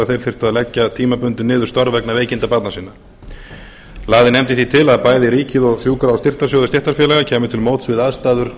þeir þyrftu að leggja tímabundið niður störf vegna veikinda barna sinna lagði nefndin því til að bæði ríkið og sjúkra og styrktarsjóður stéttarfélaga kæmu til móts við aðstæður